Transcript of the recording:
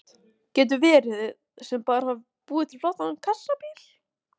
Hrund: Getur hver sem bara búið til flottan kassabíl?